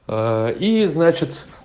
и значит